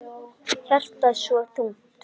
Hjartað svo þungt.